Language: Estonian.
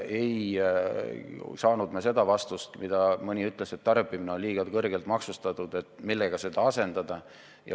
Ei saanud me seda kinnitust, kui mõni inimene ütles, et tarbimine on liiga kõrgelt maksustatud, ja pakkus, millega seda asendada.